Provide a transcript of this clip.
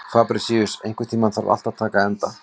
Fabrisíus, einhvern tímann þarf allt að taka enda.